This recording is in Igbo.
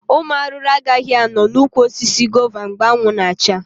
Ụmụ arụrụ agaghị anọ na ụkwụ osisi gova mgbe anwụ na acha